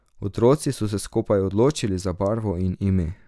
Otroci so se skupaj odločili za barvo in ime.